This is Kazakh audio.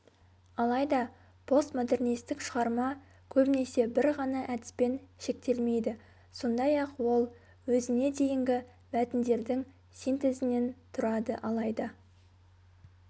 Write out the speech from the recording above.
алайда постмодернистік шығарма көбінесе бір ғана әдіспен шектелмейді сондай-ақ ол өзіне дейінгі мәтіндердің синтезінен тұрады алайда